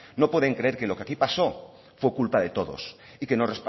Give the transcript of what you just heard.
no pueden creer que lo que aquí pasó fue culpa de todos y que nos